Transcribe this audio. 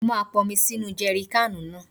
Mo máa ponmi sínu jèrikáànù náà.